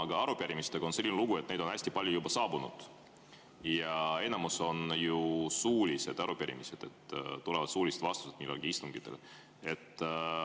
Aga arupärimistega on selline lugu, et neid on juba hästi palju ja enamik on suulised arupärimised, mille korral antakse suulised vastused istungitel.